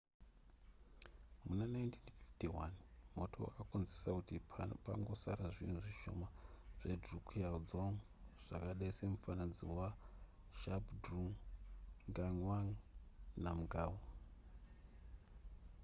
muna 1951 moto wakakonzera kuti pangosara zvinhu zvishoma zvedrukgyal dzong zvakadai semufananidzo wazhabdrung ngawang namgyal